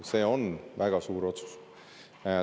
See on väga suur otsus.